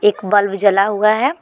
एक बल्ब जला हुआ है।